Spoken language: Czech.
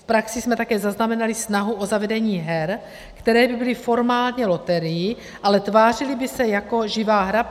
V praxi jsme také zaznamenali snahu o zavedení her, které by byly formálně loterií, ale tvářily by se jako živá hra.